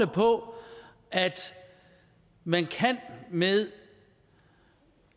på at man med